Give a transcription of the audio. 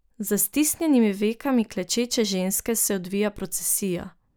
Za stisnjenimi vekami klečeče ženske se odvija procesija.